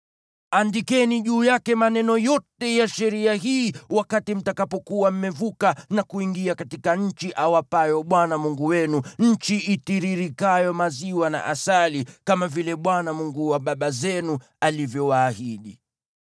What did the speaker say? Andikeni juu yake maneno yote ya sheria hii wakati mtakapokuwa mmevuka na kuingia katika nchi awapayo Bwana Mungu wenu, nchi itiririkayo maziwa na asali, kama vile Bwana , Mungu wa baba zenu, alivyowaahidi.